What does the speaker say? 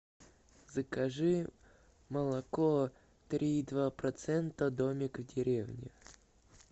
закажи молоко три и два процента домик в деревне